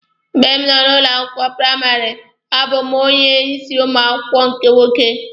Mgbe m nọ ụlọ akwụkwọ praịmarị, a bụ mụ onye isi ụmụ akwụkwọ nke nwoke.